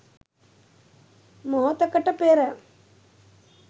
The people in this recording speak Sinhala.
මොහොතකට පෙර